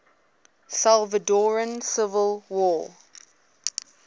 salvadoran civil war